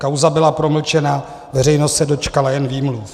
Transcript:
Kauza byla promlčena, veřejnost se dočkala jen výmluv.